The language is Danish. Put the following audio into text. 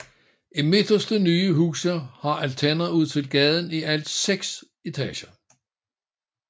De midterste nye huse har altaner ud til gaden i hele seks etager